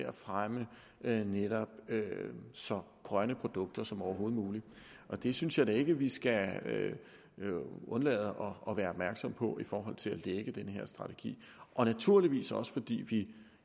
at fremme netop så grønne produkter som overhovedet muligt det synes jeg da ikke vi skal undlade at være opmærksomme på i forhold til at lægge den her strategi og naturligvis også fordi vi